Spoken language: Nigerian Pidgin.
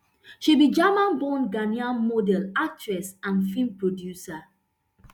she be german born ghanaian model actress and film producer